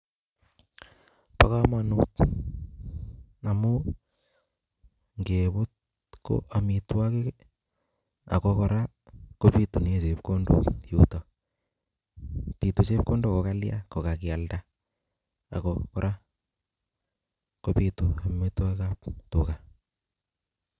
Bo kamanut amu ngebut ko amitwogik, ako kora kobitune chepkondok yutok, bitu chepkondok ko kalya? kokakialda. Ako kora kobitu amitwigikab tuga.